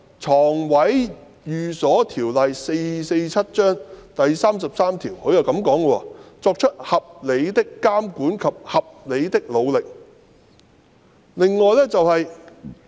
《床位寓所條例》第33條的修訂中文文本是"作出合理的監管及合理的努力"。